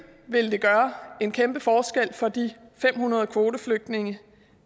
vil det gøre en kæmpe forskel for de fem hundrede kvoteflygtninge